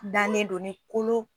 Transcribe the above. Danen do ni kolo